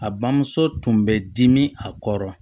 A bamuso tun bɛ dimi a kɔrɔ